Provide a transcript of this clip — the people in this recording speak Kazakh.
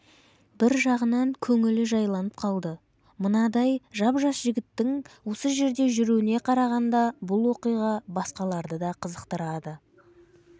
бір жағынан көңілі жайланып қалды мынадай жап-жас жігіттің осы жерде жүруіне қарағанда бұл оқиға басқаларды да қызықтырады